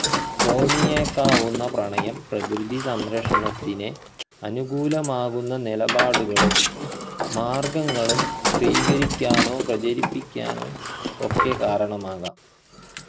തോന്നിയേക്കാവുന്ന പ്രണയം പ്രകൃതി സംരക്ഷണത്തിനെ അനുകൂലമാകുന്ന നിലപാടുകളും മാർഗങ്ങളും സ്വീകരിക്കാനോ പ്രചരിപ്പിക്കാനോ ഒക്കെ കാരണമാകാം